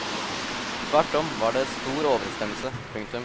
Tvert om var det stor overensstemmelse. punktum